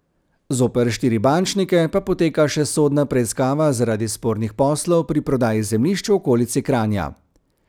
Zoper štiri bančnike pa poteka še sodna preiskava zaradi spornih poslov pri prodaji zemljišč v okolici Kranja.